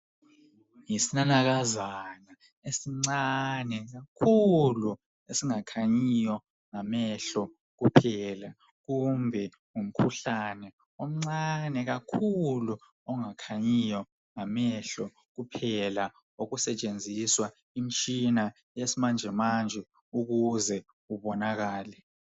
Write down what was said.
Yisinanakazana esincane kakhulu esingakhanyiyo ngamehlo kuphela kumbe ngumkhuhlane omncane kakhulu ongakhanyiyo ngamehlo kuphela okusetshenziswa imitshina yesimanje manje ukuze kubonakale.